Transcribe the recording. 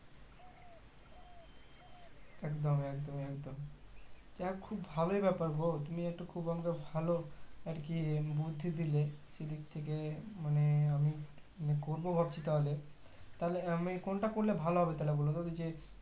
একদম একদমএকদম আ খুব ভালোই ব্যাপার গো তুমি একটু খুব আমাকে ভালো আরকি বুদ্ধি দিলে সেদিক থেকে মানে আমি করবো ভাবছি তাহলে তাহলে আমি কোনটা করলে ভালো হবে তো তাহলে যে